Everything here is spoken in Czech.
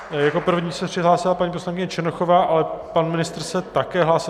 Jako první se přihlásila paní poslankyně Černochová, ale pan ministr se také hlásil.